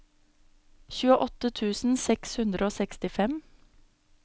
tjueåtte tusen seks hundre og sekstifem